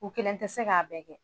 U kelen tɛ se k'a bɛɛ kɛ